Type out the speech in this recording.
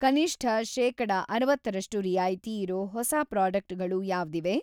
ಕನಿಷ್ಠ‌ ಶೇಕಡ ಅರವತ್ತರಷ್ಟು ರಿಯಾಯಿತಿ ಇರೋ ಹೊಸಾ ಪ್ರಾಡಕ್ಟ್‌ಗಳು ಯಾವ್ದಿವೆ?